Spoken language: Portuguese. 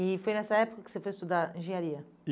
E foi nessa época que você foi estudar engenharia?